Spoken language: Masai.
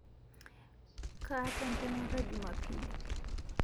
Kataa ntemata jumapili